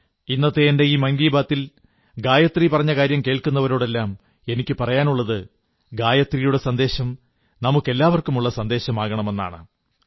ഇന്നത്തെ എന്റെ ഈ മൻകീ ബാത്തിൽ ഗായത്രി പറഞ്ഞ കാര്യം കേൾക്കുന്നവരോടെല്ലാം എനിക്കു പറയാനുള്ളത് ഗായത്രിയുടെ സന്ദേശം നമുക്കെല്ലാവർക്കുമുള്ള സന്ദേശമാകണമെന്നാണ്